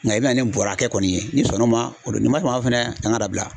Nka i bɛna ni nin bɔrɔ hakɛ kɔni ye ,n'i sɔn na o ma o don wa n'i ma sɔn fana ani k'a dabila.